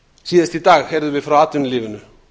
síðast í dag heyrðum við frá atvinnulífinu